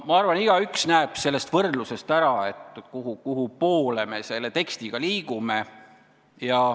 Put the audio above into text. " Ma arvan, et igaüks näeb sellest võrdlusest ära, kuhupoole me selle tekstiga liigume.